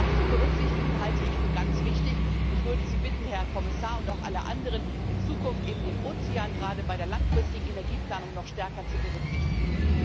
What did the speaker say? Das zu berücksichtigen, halte ich für ganz wichtig, und ich würde Sie bitten, Herr Kommissar und auch alle anderen, in Zukunft den Ozean gerade bei der langfristigen Energieplanung noch stärker zu berücksichtigen.